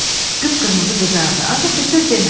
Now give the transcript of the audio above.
Qıpqırmızı qızardı, ancaq bir söz demədi.